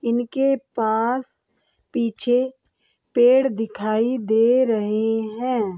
इनके पास पीछे पेड़ दिखाई दे रहे है।